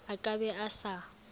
a ka be a sa